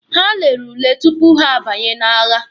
Ha lere ule tupu ha abanye n'agha.